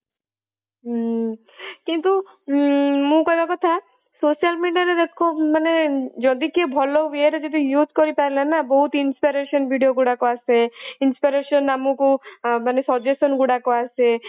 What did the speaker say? ହୁଁ କିନ୍ତୁ ଉଁ ମୁଁ କହିବ କଥା social media ରେ ଲୋକ ମାନେ ଯଦି କିଏ ଭଲ way ରେ ଯଦି use କରିପାରିଲା ନା ବହୁତ inspiration video ଗୁରକ ଆସେ inspiration ଆମକୁ ମାନେ suggestion ଗୁଡାକ ଆସେ